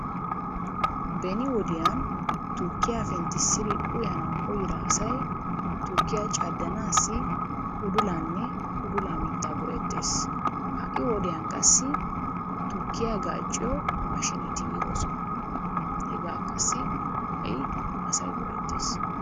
Beni wodiyan tukkiya penttissidi uyanawu koyyida asay tukkiya caddanaassi udulaanne udulan mittaa go'ettes. Ha'i wodiyan qassi tukkiya gaacciyo maashiineti yiidosona. Hegaa qassi ha'i asay go'ettes.